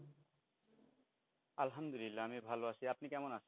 আলহামদুলিল্লাহ আমি ভালো আছি আপনি কেমন আছেন?